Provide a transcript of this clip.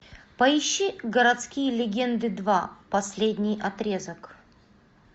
поищи городские легенды два последний отрезок